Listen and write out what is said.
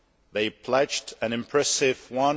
They pledged an impressive EUR